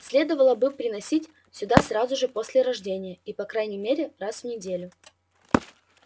следовало бы приносить сюда сразу же после рождения и по крайней мере раз в неделю